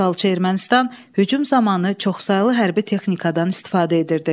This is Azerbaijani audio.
İşğalçı Ermənistan hücum zamanı çoxsaylı hərbi texnikadan istifadə edirdi.